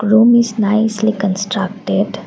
room is nicely constructed.